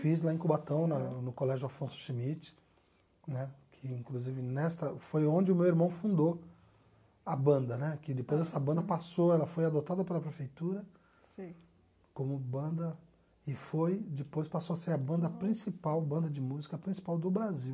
Fiz lá em Cubatão, na no Colégio Afonso Schmidt né, que inclusive nesta foi onde o meu irmão fundou a banda né, que depois essa banda passou, ela foi adotada pela prefeitura como banda e foi, depois passou a ser a banda principal, banda de música principal do Brasil.